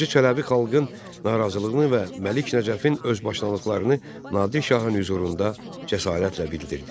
Hacı Çələbi xalqın narazılığını və Məlik Nəcəfin özbaşınalıqlarını Nadir şahın hüzurunda cəsarətlə bildirdi.